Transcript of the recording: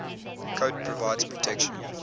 coat provides protection